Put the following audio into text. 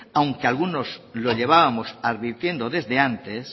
aunque algunos lo llevábamos advirtiendo desde antes